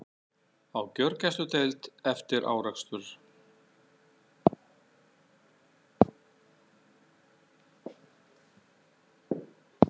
Á gjörgæsludeild eftir árekstur